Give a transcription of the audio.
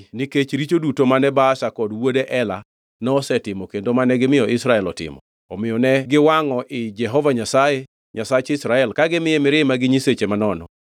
nikech richo duto mane Baasha kod wuode Ela nosetimo kendo mane gimiyo Israel otimo, omiyo ne giwangʼo ii Jehova Nyasaye, Nyasach Israel, ka gimiye mirima gi nyiseche manono.